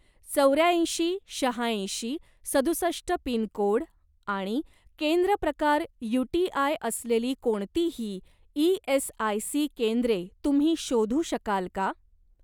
चौऱ्याऐंशी शहाऐंशी सदुसष्ट पिनकोड आणि केंद्र प्रकार यूटीआय असलेली कोणतीही ई.एस.आय.सी. केंद्रे तुम्ही शोधू शकाल का?